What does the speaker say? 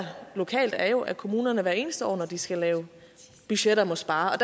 lokalt er jo at kommunerne hvert eneste år når de skal lave budgetter må spare